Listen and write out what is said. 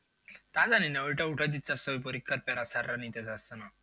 তা জানি না ওইটা উঠাই দিচ্ছে sir রা নিতে চাইছে না।